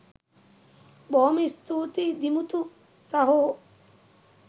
බොහොම ස්තූතියි දිමුතු සහෝ